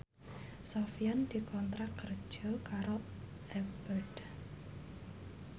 Sofyan dikontrak kerja karo Abboth